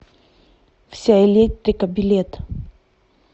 вся электрика билет